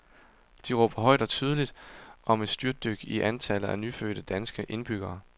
De råber højt og tydeligt om et styrtdyk i antallet af nyfødte danske indbyggere.